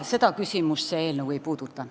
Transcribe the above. Seda küsimust see eelnõu ei puuduta.